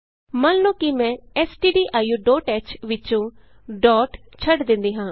ਮੰਨ ਲਉ ਕਿ ਮੈਂ stdioਹ ਵਿਚੋਂ ਡੋਟ ਛੱਡ ਦਿੰਦੀ ਹਾਂ